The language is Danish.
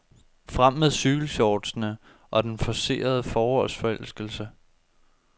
Frem med cykelshortsene og den forcerede forårsforelskelse.